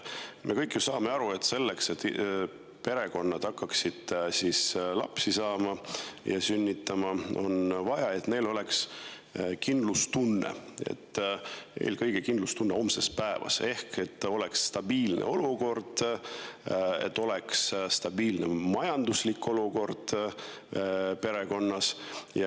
Me kõik ju saame aru, et selleks, et perekonnad hakkaksid lapsi saama ja sünnitama, on neil vaja kindlustunnet, eelkõige kindlustunnet homse päeva ees: ehk et oleks stabiilne olukord, stabiilne majanduslik olukord perekonnas.